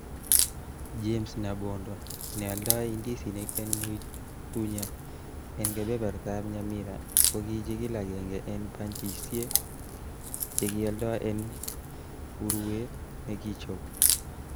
James Nyabondo ,Neoldo indisinik en Moitunya en kebebertab Nyamira, ko kichigil agenge en banchisiei che kioldo en urue nekichob.